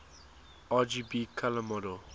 rgb color model